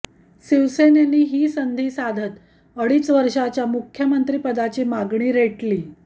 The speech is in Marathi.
शिवसेनेने ही संधी साधत अडीच वर्षाच्या मुख्यमंत्रिपदाची मागणी रेटली